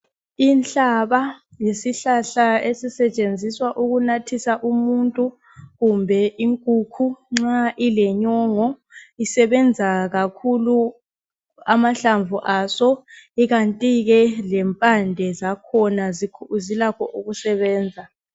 Inhlaba yisihlahla ezisetshenziswa ukunathisa umuntu kumbe inkukhu nxa ilenyongo. Isebenza kakhulu amahlamvu aso ikanti ke lempande zakhona zilakho ukusebenza.